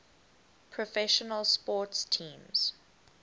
professional sports teams